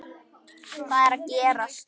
HVAÐ ER AÐ GERAST??